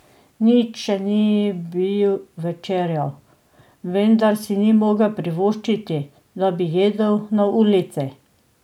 Nič še ni bil večerjal, vendar si ni mogel privoščiti, da bi jedel na ulici.